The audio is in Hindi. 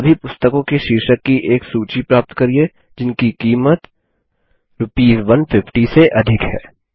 सभी पुस्तकों के शीर्षक की एक सूची प्राप्त करिये जिनकी कीमत आरएस १५० से अधिक है 3